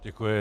Děkuji.